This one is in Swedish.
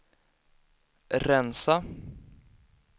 rensa